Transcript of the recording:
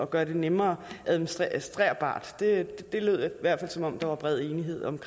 gøre det nemmere administrerbart det lød i hvert fald som om der var bred enighed om